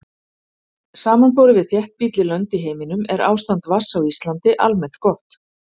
Samanborið við þéttbýlli lönd í heiminum er ástand vatns á Íslandi almennt gott.